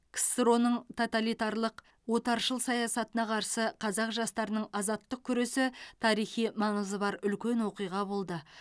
ксро ның тоталитарлық отаршыл саясатына қарсы қазақ жастарының азаттық күресі тарихи маңызы бар үлкен оқиға болды